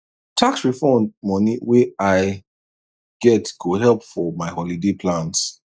tax refund money wey i get go help for my holiday plans